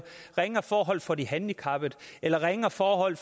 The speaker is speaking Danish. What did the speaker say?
ringere forhold for de handicappede eller ringere forhold